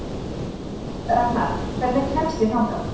Ragnar, hvernig kemst ég þangað?